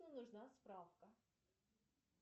нужна справка